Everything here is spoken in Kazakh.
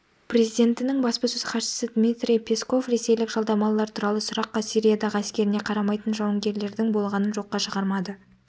президентінің баспасөз хатшысы дмитрий песков ресейлік жалдамалылар туралы сұраққа сириядағы әскеріне қарамайтын жауынгерлердің болғанын жоққа шығармады